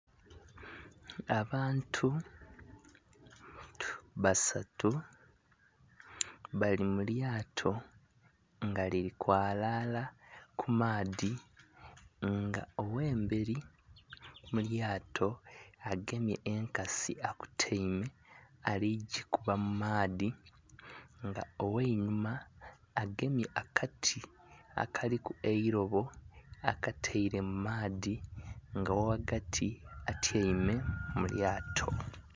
Abantu basatu bali mu lyaato nga liri kwalaara ku maadhi nga owemberi mulyaato agemye enkasi akotaime ali kujikuba mu maadhi nga oweinhuma agemye akati akaliku eilobo akataire mu maadhi owoghagati etyaime mu lyaato